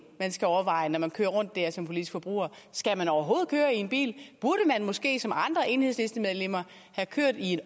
man skal overveje når man kører rundt dér som politisk forbruger skal man overhovedet køre i bil burde man måske som andre enhedslistemedlemmer køre i